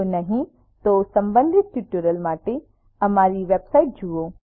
જો નહિં તો સંબંધિત ટ્યુટોરિયલ્સ માટે અમારી વેબસાઇટ httpspoken tutorialorg જુઓ